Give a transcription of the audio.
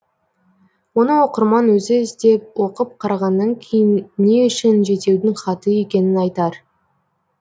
оны оқырман өзі іздеп оқып қарағаннан кейін не үшін жетеудің хаты екенін айтар